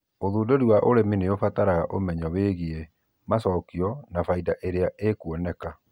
ũthũndũrĩ wa ũrĩmĩ nĩũbataraga ũmenyo wĩgĩĩ macokĩo na faĩda ĩrĩa ĩkũoneka